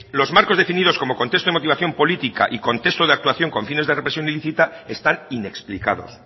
los marcos definidos como contexto de motivación política y contexto de actuación con fines de represión ilícita están inexplicados